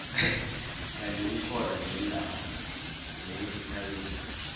kandi kukhona neendawo zokuzithabisa